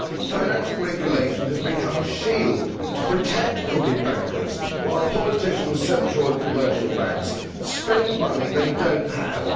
Financial regulation has become a shield to protect crooked bankers, while politicians, central and commercial banks spend money they do not have.